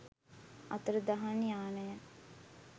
අතුරුදහන් යානය